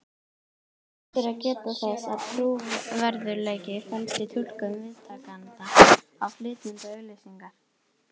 Rétt er að geta þess að trúverðugleiki felst í túlkun viðtakanda á flytjanda auglýsingar.